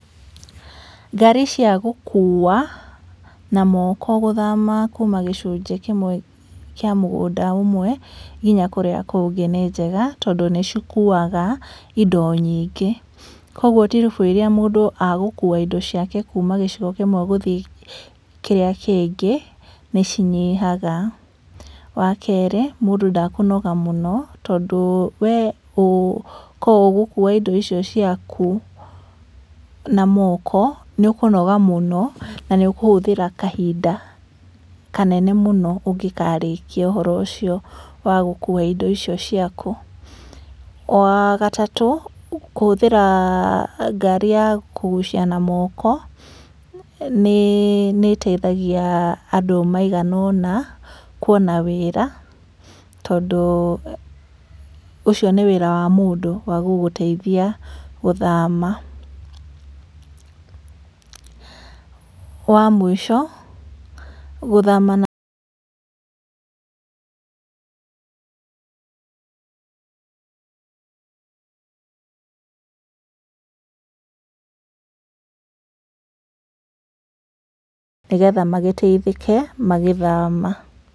Ngari cia gũkuwa na moko gũthama kuuma gĩcunjĩ kĩmwe kĩa mũgũnda ũmwe nginya kũrĩa kũngĩ nĩnjega tondũ nĩcikuwaga indo nyingĩ. Koguo tiribũ iria mũndũ egũkuwa indo ciake kuuma gĩcigo kĩmwe gũthiĩ kĩrĩa kĩngĩ, nĩcinyihaga. Wakerĩ, mũndũ ndekũnoga mũno tondũ wee korwo ũgũkuwa indo icio ciaku na moko nĩũkũnoga mũno, na nĩũkũhũthĩra kahinda kanene mũno ũngĩkarĩkia ũhoro icio wa gũkuwa indo icio ciaku. Wagatatũ, kũhũthĩra ngari ya kũgucia na moko nĩĩteithagia andũ maigana ona kuona wĩra tondũ ũcio nĩ wĩra wa mũndũ wa gũgũteithia gũthama. Wa mũico, gũthama na nĩgetha magĩteithĩke magĩthama.